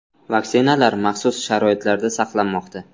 Vaksinalar maxsus sharoitlarda saqlanmoqda.